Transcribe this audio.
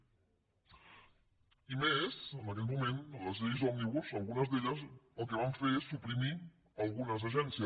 i més quan en aquell moment les lleis òmnibus algunes el que van fer és suprimir algunes agències